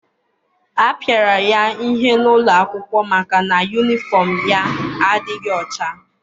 A pịara ya ihe n'ụlọ akwụkwọ maka na yunifọm ya adịghị ọcha.